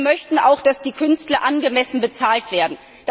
Aber wir möchten auch, dass die Künstler angemessen bezahlt werden.